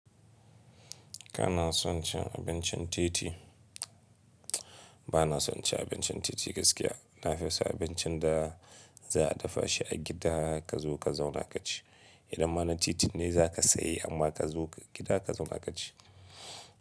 Kana son cin abincin titi? Bana son ci abincin titi gaskiya. Nafi son abincin da za a dafa shi a gida ka zo ka zauna ka ci. Idan ma na titin ne za ka sayi amma ka zo gida ka zauna ka ci.